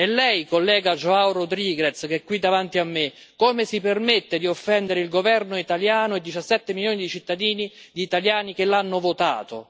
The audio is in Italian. E lei, collega João Rodrigues che è qui davanti a me, come si permette di offendere il governo italiano e 17 milioni di cittadini italiani che l'hanno votato?